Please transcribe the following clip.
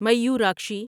Mayurakshi